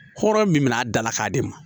Hɔrɔn min bɛ n'a dala k'a di ma